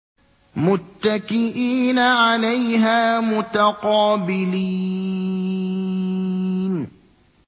مُّتَّكِئِينَ عَلَيْهَا مُتَقَابِلِينَ